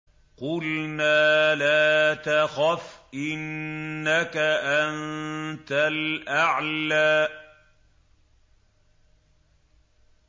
قُلْنَا لَا تَخَفْ إِنَّكَ أَنتَ الْأَعْلَىٰ